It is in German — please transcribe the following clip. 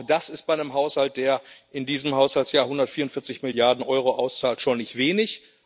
Auch das ist bei einem Haushalt, der in diesem Haushaltsjahr 144 Milliarden Euro auszahlt, schon nicht wenig.